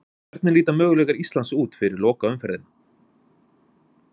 Hvernig líta möguleikar Íslands út fyrir lokaumferðina?